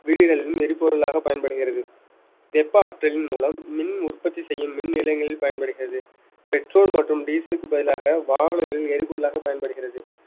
வீடுகளிலும் எரிபொருளாக பயன்படுகிறது வெப்ப ஆற்றலின் மூலம் மின் உற்பத்தி செய்யும் மின் நிலையங்களில் பயன்படுகிறது petrol மற்றும் diesel க்கு பதிலாக வாகனங்களில் எரிபொருளாக பயன்படுகிறது